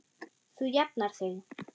Þú jafnar þig.